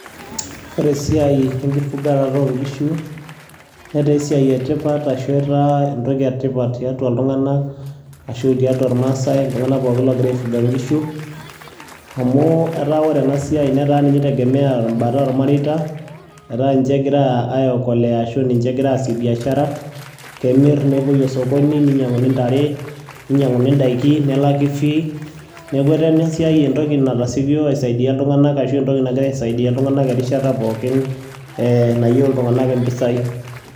ore esiai enkifugarate oo nkishu netaa esiai etipat ashu etaa entoki etipat tiatua iltunganak ashu tuatua irmaasae iltunganak pookin oogira ai fuga nkishu. amu etaa ore ena siai netaa ninye itegemea ebata oolmareita. etaa ninche egira aekolea ashu ninche egira aasie biashara kemir, nepuoi osokoni, ninyianguni ntare, ninyianguni daikin, nelaki fee neeku etaa ina siai entoki natasikio aisaidia iltunganak ashu entoki nagira aisaidia iltunganak enkata pookin nayieu iltunganak impisai.